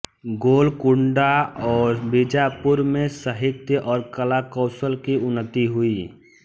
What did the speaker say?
गोलकुंडा और बीजापुर में साहित्य और कला कौशल की उन्नति हुई